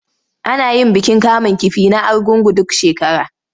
Ana yin bikin kamun kifi na Argungu duk shekara.